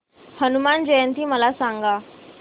हनुमान जयंती मला सांगा